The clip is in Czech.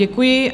Děkuji.